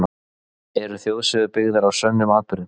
Eru þjóðsögur byggðar á sönnum atburðum?